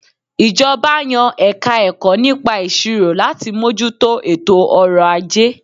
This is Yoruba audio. Ìjọba yan Ẹ̀ka-ẹ̀kọ́ nípa Ìṣirò láti mójú tó ètò ọrọ̀ - ajé